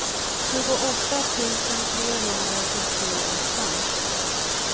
tjugoåtta tusen trehundrasjuttioåtta